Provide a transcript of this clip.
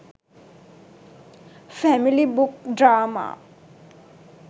family book drama